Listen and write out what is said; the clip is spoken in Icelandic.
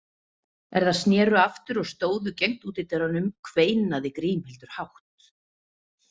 Er þær sneru aftur og stóðu gegnt útidyrunum, kveinaði Grímhildur hátt.